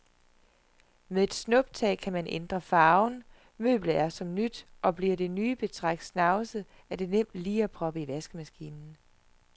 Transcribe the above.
Med et snuptag kan man ændre farven, møblet er som nyt og bliver det nye betræk snavset er det nemt lige at proppe i vaskemaskinen.